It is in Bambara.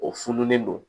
O fununen don